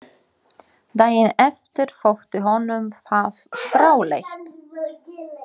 Daginn eftir þótti honum það fráleitt.